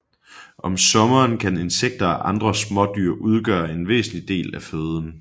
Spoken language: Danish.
Om sommeren kan insekter og andre smådyr udgøre en væsentlig del af føden